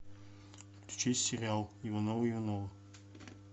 включи сериал ивановы ивановы